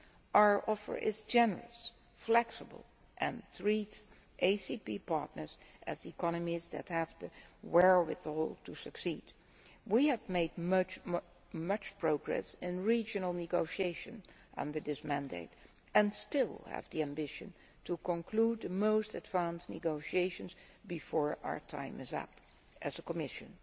Our offer is generous and flexible and treats ACP partners as economies that have the wherewithal to succeed. We have made much progress in regional negotiations under this mandate and still have the ambition to conclude the most advanced negotiations before our time is up as a Commission.